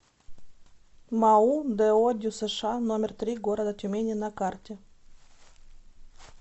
мау до дюсш номер три города тюмени на карте